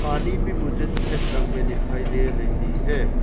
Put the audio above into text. पानी भी मुझे सफेद रंग में दिखाई दे रही है।